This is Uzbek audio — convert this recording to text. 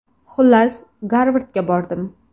Xullas, Garvardga bordim.